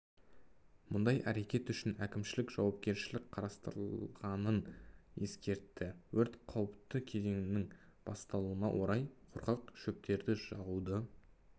мұндай әрекет үшін әкімшілік жауапкершілік қарастырылғанын ескертті өрт қауіпті кезеңінің басталуына орай құрғақ шөптерді жағуды